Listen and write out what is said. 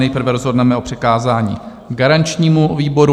Nejprve rozhodneme o přikázání garančnímu výboru.